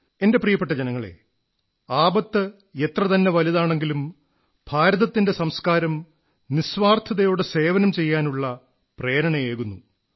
എന്റെ പ്രിയപ്പെട്ട ജനങ്ങളേ ആപത്ത് എത്രതന്നെ വലുതാണെങ്കിലും ഭാരതത്തിന്റെ സംസ്കാരം നിസ്വാർഥതയോടെ സേവനം ചെയ്യാനുള്ള പ്രേരണയേകുന്നു